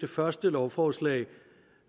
det første lovforslag